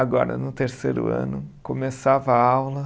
Agora, no terceiro ano, começava a aula.